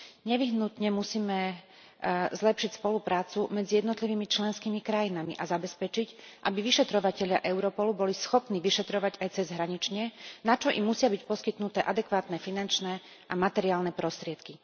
Nevyhnutne musíme zlepšiť spoluprácu medzi jednotlivými členskými krajinami a zabezpečiť, aby vyšetrovatelia Europolu boli schopní vyšetrovať aj cezhranične, na čo im musia byť poskytnuté adekvátne finančné a materiálne prostriedky.